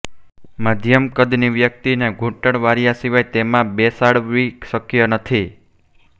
મધ્યમ કદની વ્યક્તિ ને ઘુંટણ વાળ્યા સિવાય તેમાં બેસાડવી શક્ય નથી